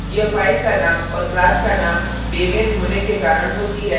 यह file का name और class का name बेमेल होने के कारण होती है